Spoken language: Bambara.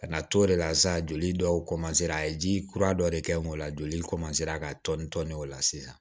Ka na t'o de la sa joli dɔw a ye ji kura dɔ de kɛ n'o la joli ka tɔni tɔni o la sisan